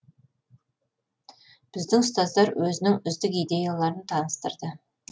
біздің ұстаздар өзінің үздік идеяларын таныстырды